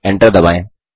Enter दबाएँ